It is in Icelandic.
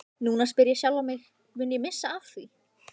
Núna spyr ég sjálfan mig, mun ég missa af því?